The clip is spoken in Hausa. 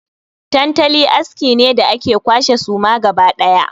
Tantali aski ne da ake kwashe suma gaba ɗaya.